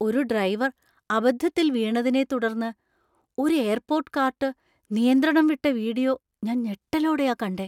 ഒരു ഡ്രൈവർ അബദ്ധത്തിൽ വീണതിനെ തുടർന്ന് ഒരു എയർപോർട്ട് കാർട്ട് നിയന്ത്രണം വിട്ട വീഡിയോ ഞാന്‍ ഞെട്ടലോടെയാ കണ്ടെ.